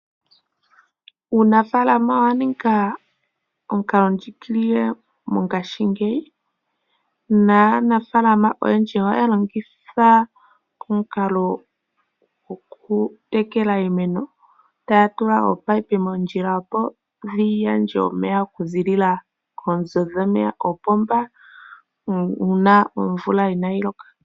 Uunafalama owa ninga omukalo ndjigilile mongashingeyi, naanafalama oyendji oya longitha omukalo goku tekele iimeno taya tula opayipi moondjila opo yi gandja omeya okuzilila koonzo dhomeya koopomba uuna omvula ina yi loka.